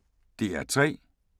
DR P3